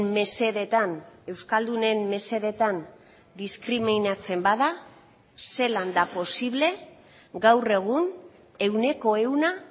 mesedetan euskaldunen mesedetan diskriminatzen bada zelan da posible gaur egun ehuneko ehuna